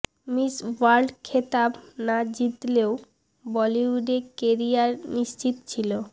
miss World খেতাব না জিতলেও বলিউডে কেরিয়ার নিশ্চিত ছিল